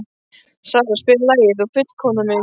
Sara, spilaðu lagið „Þú fullkomnar mig“.